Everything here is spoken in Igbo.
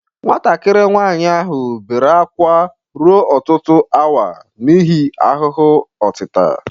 Nwatakịrị nwanyị ahụ bere ákwá ruo ọtụtụ awa n'ihi ahụhụ otita.